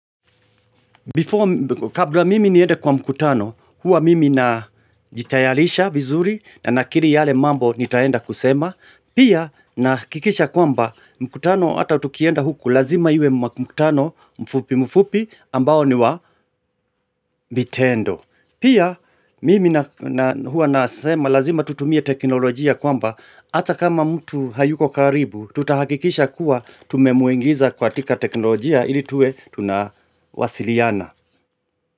Before, kabla mimi niende kwa mkutano, huwa mimi najitayalisha vizuri na nakiri yale mambo nitaenda kusema, pia nahikikisha kwamba mkutano hata tukienda huku lazima iwe mkutano mfupi mfupi ambao ni wa vitendo. Pia mimi na na huwa nasema lazima tutumie teknolojia kwamba ata kama mtu hayuko karibu tutahakikisha kuwa tumemuengiza katika teknolojia ili tuwe tunawasiliana.